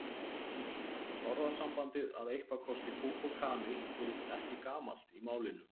Orðasambandið að eitthvað kosti kúk og kanil virðist ekki gamalt í málinu.